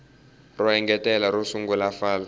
ro engetela ro sungula fal